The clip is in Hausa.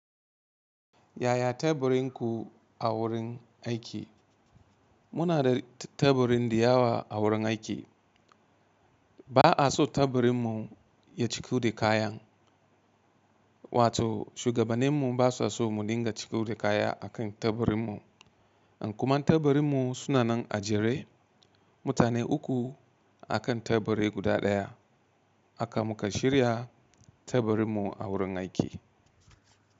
Yaya teburin ku a wurin aiki? Muna da taburin diyawa a wurin aiki. Ba a so teburin mu ya ciku da kayan, wato shugabaninmu ba sa so mu dinga ciko da kaya a kan teburin mu. Kuma in teburin mu suna nan a jere, mutane uku a kan teburi guda ɗaya haka muka shirya teburin mu a wurin aiki.